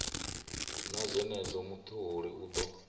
na zwenezwo mutholi u ḓo